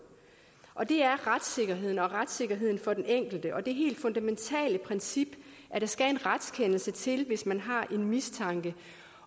og det er retssikkerheden retssikkerheden for den enkelte og det helt fundamentale princip at der skal en retskendelse til hvis man har en mistanke